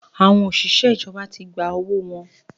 Àwọn òṣìṣẹ́ ìjọba tí gba owó wọn